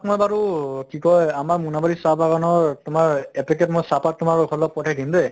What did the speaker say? মই বাৰু কি কয় আমাৰ মুনাবাৰি চাহ বাগানৰ তোমাৰ এপেকেট মই চাহ পাত তোমালোকৰ ঘৰলে পঠাই দিম দে